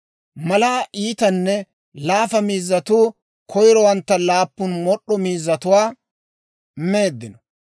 Malaa iitanne laafa miizzatuu koyrowantta, laappun mod'd'o miizzatuwaa meeddino.